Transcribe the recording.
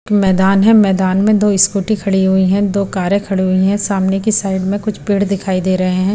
एक मैदान है मैदान में दो स्कूटी खड़ी हुई है दो कारें खड़ी हुई है सामने की साइड में कुछ पेड़ दिखाई दे रहे हैं।